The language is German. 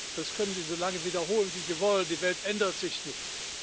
Das können Sie so lange wiederholen wie Sie wollen Die Welt ändert sich nicht!